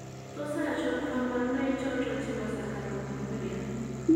Tos achon kabarunaik choton chebo Saccharopinuria ?